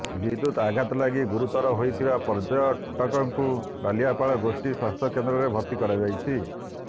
ବିଦ୍ୟୁତ ଆଘାତ ଲାଗି ଗୁରୁତର ହୋଇଥିବା ପର୍ଯ୍ୟଟକଙ୍କୁ ବାଲିଆପାଳ ଗୋଷ୍ଠୀ ସ୍ୱାସ୍ଥ୍ୟକେନ୍ଦ୍ରରେ ଭର୍ତି କରାଯାଇଛି